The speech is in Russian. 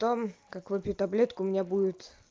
том как выпью таблетку у меня будет